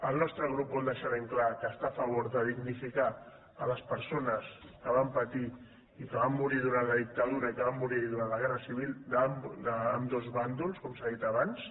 el nostre grup vol deixar ben clar que està a favor de dignificar les persones que van patir i que van morir durant la dictadura i que van morir durant la guerra civil d’ambdós bàndols com s’ha dit abans